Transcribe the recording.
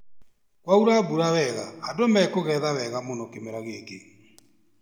Kwaura mbura wega andũ mekũgetha wega mũno kĩmera gĩkĩ